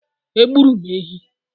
Egburu m ehi.